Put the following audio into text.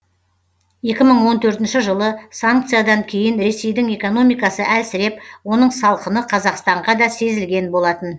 екі мың он төртінші жылы санкциядан кейін ресейдің экономикасы әлсіреп оның салқыны қазақстанға да сезілген болатын